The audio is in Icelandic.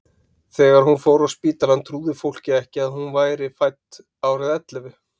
Þegar hún fór á spítalann trúði fólkið ekki að hún væri fædd árið ellefu.